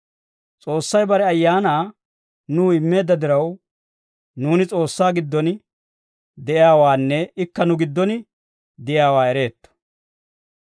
S'oossay bare Ayaanaa nuw immeedda diraw, nuuni S'oossaa giddon de'iyaawaanne ikka nu giddon de'iyaawaa ereetto.